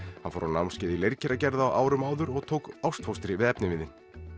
hann fór í námskeið í leirkeragerð á árum áður og tók ástfóstri við efniviðinn